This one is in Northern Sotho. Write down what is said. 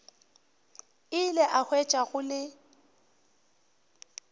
ile a hwetša go le